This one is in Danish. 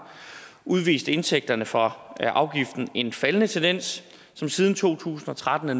udviste indtægterne fra afgiften en faldende tendens men siden to tusind og tretten er